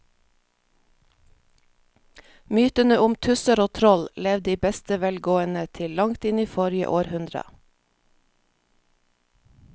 Mytene om tusser og troll levde i beste velgående til langt inn i forrige århundre.